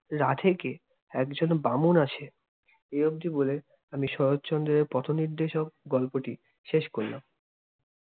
রাঁধে কে? একজন বামুন আছে। এই অব্দি বলে আমি শরৎচন্দ্রের পথ-নির্দেশক গল্পটি শেষ করলাম।